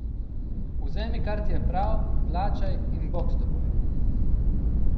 Vzemi, kar ti je prav, plačaj in bog s teboj!